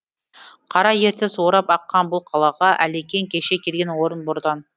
қара ертіс орап аққан бұл қалаға әлекең кеше келген орынбордан